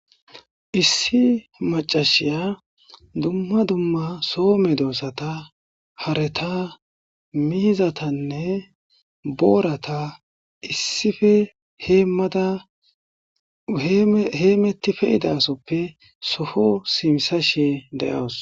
Issi maccashiya dumma dumma soo medosata hareta mizatanne boorata issife heemada heemeti pe'idasope soo simisashe de'awus.